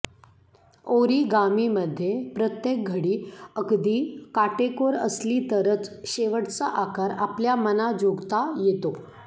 ओरिगामीमध्ये प्रत्येक घडी अगदी काटेकोर असली तरच शेवटचा आकार आपल्या मनाजोगता येतो